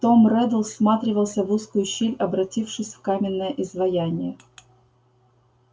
том реддл всматривался в узкую щель обратившись в каменное изваяние